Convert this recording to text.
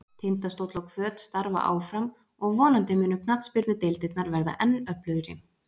Tindastóll og Hvöt starfa áfram og vonandi munu knattspyrnudeildirnar verða enn öflugri.